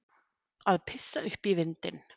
Að pissa upp í vindinn